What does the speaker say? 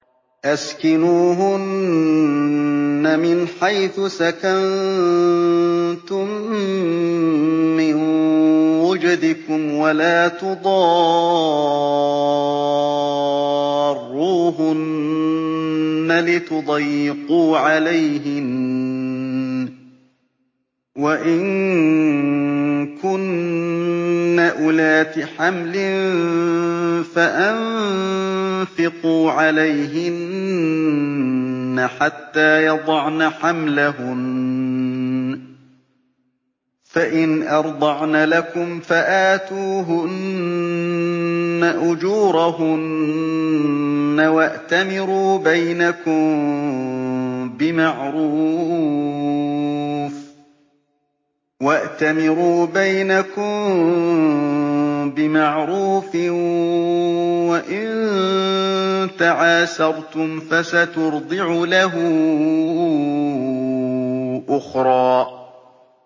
أَسْكِنُوهُنَّ مِنْ حَيْثُ سَكَنتُم مِّن وُجْدِكُمْ وَلَا تُضَارُّوهُنَّ لِتُضَيِّقُوا عَلَيْهِنَّ ۚ وَإِن كُنَّ أُولَاتِ حَمْلٍ فَأَنفِقُوا عَلَيْهِنَّ حَتَّىٰ يَضَعْنَ حَمْلَهُنَّ ۚ فَإِنْ أَرْضَعْنَ لَكُمْ فَآتُوهُنَّ أُجُورَهُنَّ ۖ وَأْتَمِرُوا بَيْنَكُم بِمَعْرُوفٍ ۖ وَإِن تَعَاسَرْتُمْ فَسَتُرْضِعُ لَهُ أُخْرَىٰ